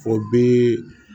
O bi